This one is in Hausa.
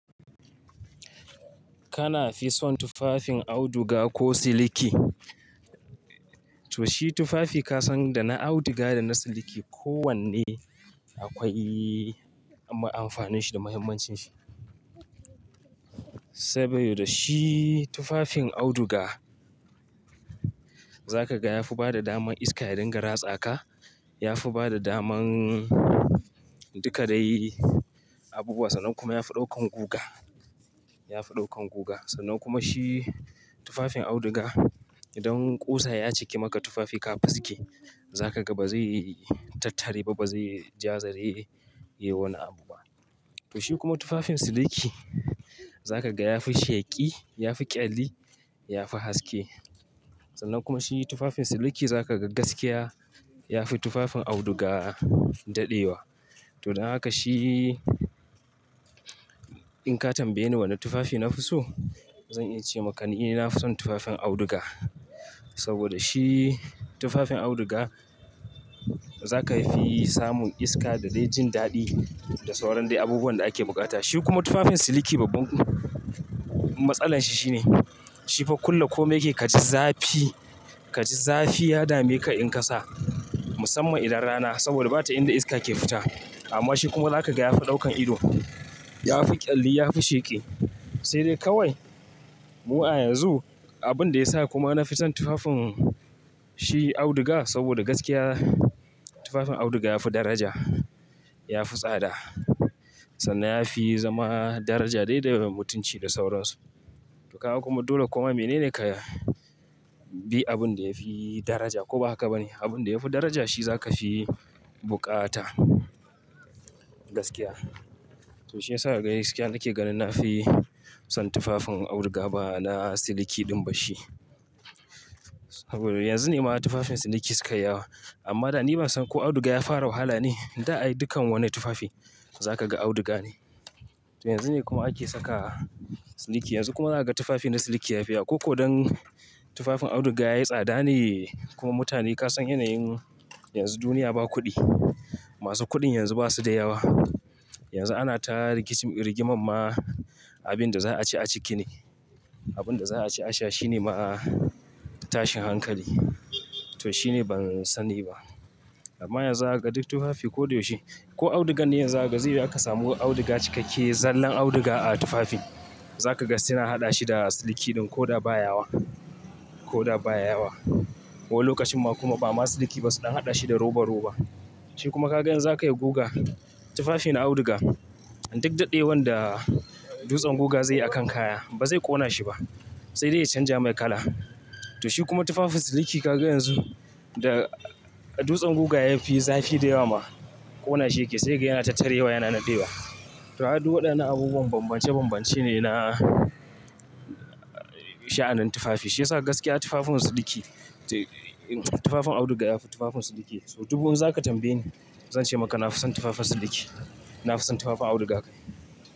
Kana fi son tufafin auduga ko siliki? Toh, shi tufafi ka san da na auduga da na siliki ko wanne akwai ma amfanin shi, da mahimmancin shi. Sabida, shi tufafin auduga, za ka ga ya fi bada daman iska ya ringa ratsaka. Ya fi bada daman duka dai abubuwa sannan kuma ya fi ɗaukan guga, ya fi ɗaukan guga. Sannan kuma shi tufafin auduga idan kusa ya cike maka tufafi ka fisge za ka ga ba zai tattare, ba ba zai ja zare yi wani abu ba. Toh, shi kuma tufafin siliki za ka ga ya fi sheki, ya fi ƙyalli, ya fi haske. Sannan kuma shi tufafin siliki za ka ga gaskiya ya fi tufafin auduga daɗewa. Toh, don haka shi in ka tambaye ni wani tufafi na fi so? Zan iya ce maka ni dai na fi son tufafin auduga. Saboda shi tufafin auduga, za ka fi samun iska da dai jin daɗi da sauran dai abubuwan da ake bukata. Shi kuma tufafin siliki babban matsalar shi shine, shi fa kulle kome yake ka ji zafi, ka ji zafi ya dame ka in ka sa musamman idan rana, saboda bata inda iska ke fita. Amma shi kuma za ka ga ya fi ɗaukan ido, ya fi ƙyalli, ya fi sheki. Sai dai kawai mu a yanzu abin da ya sa kuma na fi son tufafin shi auduga saboda gaskiya, tufafin auduga ya fi daraja, ya fi tsada. Sannan ya fi zama daraja dai da mutunci da sauransu. Toh kaga kuma dole koma mene ne ka bi abin da ya fi daraja ko ba haka ba ne? Abin da ya fi daraja shi za ka fi bukata, gaskiya. Toh, shi ya sa ka ga gaskiya nake ganin na fi son tufafin auduga ba na siliki ɗin bashi. Saboda yanzu ne ma tufafin siliki suka yi yawa. Amma da ni ban san ko auduga ya fara wahala ne? Da ai dukkan wani tufafi za ka ga auduga ne. Toh yanzu ne kuma ake saka siliki. Yanzu kuma za ka ga tufafi na siliki ya fi yawa. Ko ko don tufafin auduga yayi tsada ne, kuma mutane ka san yanayin yanzu duniya ba kuɗi. Masu kuɗin yanzu ba su da yawa. Yanzu ana ta rigimamma abin da za a ci a ciki ne. Abin da za a ci a sha shi ne ma tashin hankali. To shi ne ban sani ba. Amma yanzu za ka ga duk tufafi ko da yaushe. Ko audugan ne yanzu za ka ga, zaiyi wuya ka samu auduga cikakke zallan auduga a tufafi. Za ka ga suna haɗa shi da siliki ɗin ko da ba ya yawa, ko da ba ya yawa. Ko lokacin ma kuma ba ma siliki ba su ɗan haɗa shi da roba-roba. Shi kuma ka ga yanzu za ka yi guga, tufafin auduga duk daɗewan da dutsen guga zai yi a kan kaya, ba zai ƙona shi ba. Sai dai ya canja mai kala. Toh shi kuma tufafin siliki ka ga yanzu, da dutsen guga ya fi zafi da yawa ma ƙona shi yake sai kaga yana tattarewa yana nadewa. To duk waɗannan abubuwan bambance bambance ne na sha'anin tufafi. Shi ya sa gaskiya tufafin siliki, tufafin auduga da tufafin siliki. Sau dubu in za ka tambaye ni zan ce maka na fi son tufafin siliki. Na fi son tufafin auduga kai.